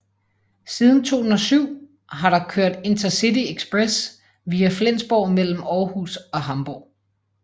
Siden 2007 har der kørt InterCityExpress via Flensborg mellem Aarhus og Hamborg